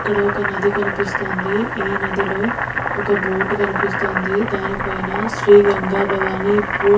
ఇక్కడ ఒక్క నది కనిపిస్తోంది ఈ నదిలో ఒక్క బోటు కనిపిస్తోంది దానిపైన శ్రీ గంగా భవాని బోట్ --